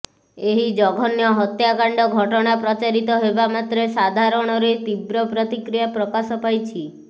ଏହି ଜଘନ୍ୟ ହତ୍ୟାକାଣ୍ଡ ଘଟଣା ପ୍ରଚାରିତ ହେବା ମାତ୍ରେ ସାଧାରଣରେ ତୀବ୍ର ପ୍ରତିକ୍ରିୟା ପ୍ରକାଶ ପାଇଛି